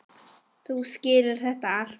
Þú skilur þetta allt.